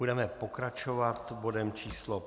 Budeme pokračovat bodem číslo